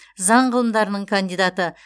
заң ғылымдарының кандидаты